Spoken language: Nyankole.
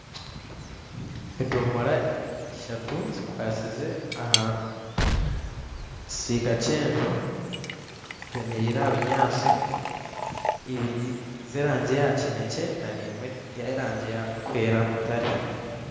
Edomora ishatu zikwasize aha kisiika kyenju zemereire aha binyatsi ibiri zeraangi ya kinekye nana emwe zerangi ya mutare